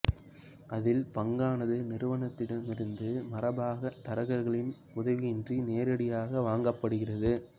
அதில் பங்கானது நிறுவனத்திடமிருந்து மரபாக தரகர்களின் உதவியின்றி நேரடியாக வாங்கப்படுகிறது